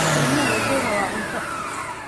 Ilmuhu wuxuu rabaa cunto.